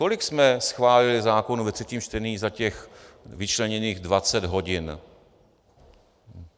Kolik jsme schválili zákonů ve třetím čtení za těch vyčleněných dvacet hodin?